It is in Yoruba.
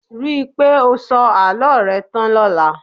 Ríi pé o sọ àlọ́ rẹ tán lọla